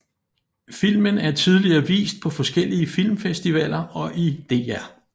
Filmen er tidligere vist på forskellige filmfestivaller og i DR